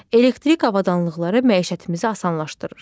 Elektrik avadanlıqları məişətimizi asanlaşdırır.